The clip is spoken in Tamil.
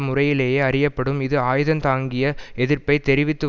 முறையிலேயே அறியப்படும் இது ஆயுதந்தாங்கிய எதிர்ப்பை தெரிவித்து